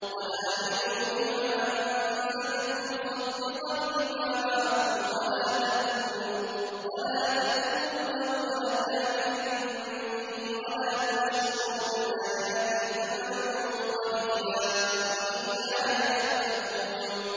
وَآمِنُوا بِمَا أَنزَلْتُ مُصَدِّقًا لِّمَا مَعَكُمْ وَلَا تَكُونُوا أَوَّلَ كَافِرٍ بِهِ ۖ وَلَا تَشْتَرُوا بِآيَاتِي ثَمَنًا قَلِيلًا وَإِيَّايَ فَاتَّقُونِ